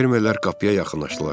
Fermerlər qapıya yaxınlaşdılar.